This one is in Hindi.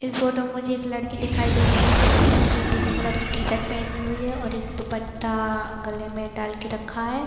इस फोटो में मुझे एक लड़की दिखाई दे रही है जिसने एक पीले कलर की टी -शर्ट पहनी हुई है एक दुपट्टा गले में डाल के रखा हैं।